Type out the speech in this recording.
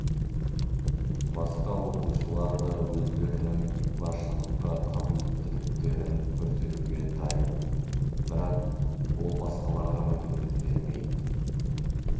басқа оқушылар да өздерінің басшылыққа қабілеттіліктерін көрсетуге дайын бірақ ол басқаларға мүмкіндік бермейді